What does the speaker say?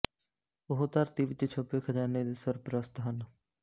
ਉਹ ਧਰਤੀ ਵਿੱਚ ਛੁਪੇ ਖਜ਼ਾਨੇ ਦੇ ਸਰਪ੍ਰਸਤ ਹਨ